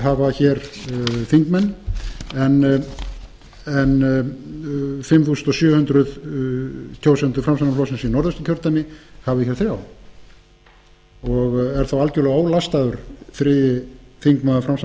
hafa þingmann þar en fimm þúsund sjö hundruð kjósendur framsóknarflokksins í norðausturkjördæmi hafi þar þrjá og er þá algerlega ólastaður